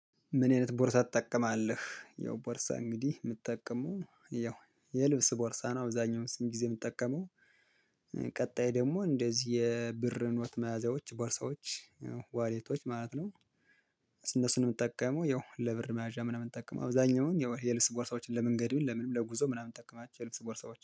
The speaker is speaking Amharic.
ምን አይነት ቦርሳ ትጠቀማለህ? ያው ቦርሳ እንግዲህ የምትጠቀመው ያው የልብስ ቦርሳ ነው። አብዛኛውን ስንት ጊዜ የምትጠቀመው? ቀጣይ ደግሞ እንደዚህ የብር ኖት መያዣዎች ቦርሳዎች ያው ዋሌቶች ማለት ነው። እነሱንም የምትጠቀመው ያው ለብር መያዣ ምናምን እምጠቀም አብዛኛውን ያው የልብስ ቦርሳዎችን ለመንገዴ ለምን ለጉዞ ምናምን እምጠቀማቸው የልብስ ቦርሳዎች